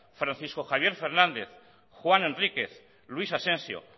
francisco javier fernández juan enríquez luis asensio